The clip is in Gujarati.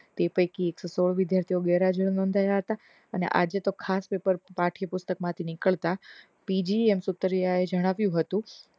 તે પૈકી એક સો ચૌદ વિદ્યાર્થીઓ ગેરહાજર નોધાવ્યા હતા અને આજે તો ખાસ પપેર પાઠ્યપુસ્તક માં થી નીકળતા PVM સુપર રે આયોજન આવ્યું હતું તે પૈકી એક સો સોળ વિદ્યાર્થીઓ ગેરહાજર નોધાવ્યા હતા